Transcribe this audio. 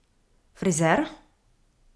Frizer?